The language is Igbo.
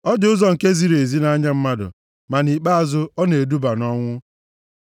Ọ dị ụzọ nke ziri ezi nʼanya mmadụ, ma nʼikpeazụ ọ na-eduba nʼọnwụ.